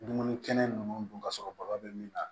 Dumuni kɛnɛ ninnu dun ka sɔrɔ bakɔ bɛ min na